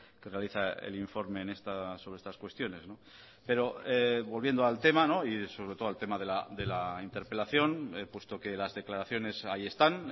que realiza el informe sobre estas cuestiones pero volviendo al tema y sobre todo al tema de la interpelación puesto que las declaraciones ahí están